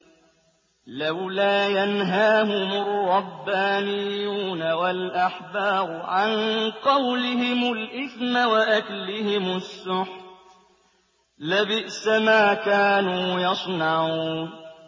لَوْلَا يَنْهَاهُمُ الرَّبَّانِيُّونَ وَالْأَحْبَارُ عَن قَوْلِهِمُ الْإِثْمَ وَأَكْلِهِمُ السُّحْتَ ۚ لَبِئْسَ مَا كَانُوا يَصْنَعُونَ